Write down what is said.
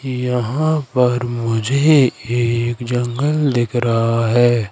यहां पर मुझे एक जंगल दिख रहा है।